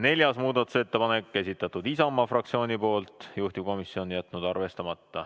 Neljas muudatusettepanek, esitanud Isamaa fraktsioon, juhtivkomisjon on jätnud arvestamata.